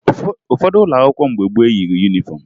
Ụfọdụ ụlọ akwụkwọ mgbe gboo eyighi yunifọmụ